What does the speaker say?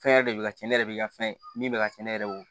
Fɛn yɛrɛ de bɛ ka ci ne yɛrɛ bɛ ka fɛn min bɛ ka ci ne yɛrɛ ye o